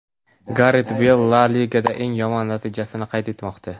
Garet Beyl La Ligada eng yomon natijasini qayd etmoqda.